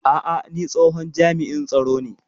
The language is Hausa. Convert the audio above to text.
A'a, ni tsohon jami'in tsaro ne